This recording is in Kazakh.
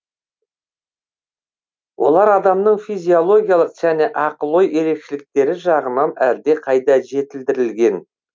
олар адамның физиологиялық және ақыл ой ерекшеліктері жағынан әлдеқайда жетілдірілген